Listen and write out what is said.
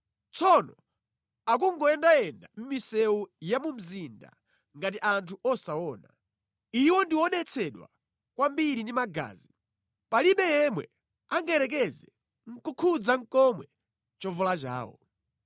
Tsopano akungoyendayenda mʼmisewu ya mu mzinda ngati anthu osaona. Iwo ndi odetsedwa kwambiri ndi magazi palibe yemwe angayerekeze nʼkukhudza komwe chovala chawo.